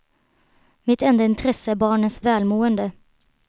Mitt enda intresse är barnens välmående.